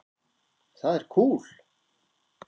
Það er kúl.